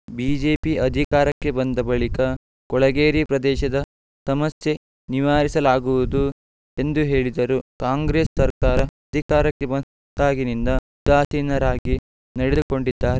BJP ಅಧಿಕಾರಕ್ಕೆ ಬಂದ ಬಳಿಕ ಕೊಳಗೇರಿ ಪ್ರದೇಶದ ಸಮಸ್ಯೆ ನಿವಾರಿಸಲಾಗುವುದು ಎಂದು ಹೇಳಿದರು ಕಾಂಗ್ರೆಸ್‌ ಸರ್ಕಾರ ಅಧಿಕಾರಕ್ಕೆ ಬಂದಾಗಿನಿಂದ ಉದಾಸೀನರಾಗಿ ನಡೆದುಕೊಂಡಿದ್ದಾರೆ